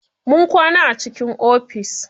Mun kwana a cikin ofis.